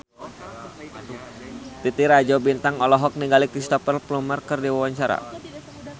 Titi Rajo Bintang olohok ningali Cristhoper Plumer keur diwawancara